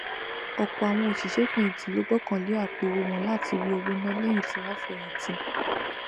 ọpọ àwọn òṣìṣẹfẹyìntì ló gbọkànlé àpòowó wọn láti rí owó ná lẹyìn tí wọn fẹyìntì